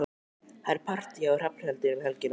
Það er partí hjá Hrafnhildi um helgina.